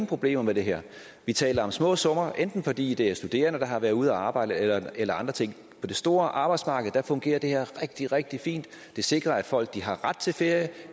problemer med det her vi taler om små summer enten fordi det er studerende der har været ude at arbejde eller eller andre ting på det store arbejdsmarked fungerer det her rigtig rigtig fint det sikrer at folk har ret til ferie